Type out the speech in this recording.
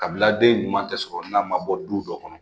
Kabila den ɲuman tɛ sɔrɔ n'a ma bɔ du dɔ kɔnɔ